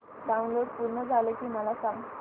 download पूर्ण झालं की मला सांग